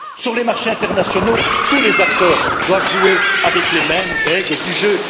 Sur les marchés internationaux, tous les acteurs doivent jouer avec les mêmes règles du jeu.